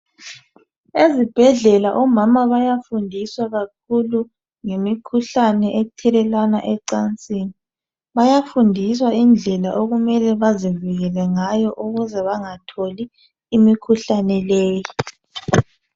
Ezibhedlela omama bayafundiswa kakhulu ngemikhuhlane ethelelwana ecansini bayafundiswa indlela okumele bazivikele ngayo ukuze bangatholi imikhuhlane leyo.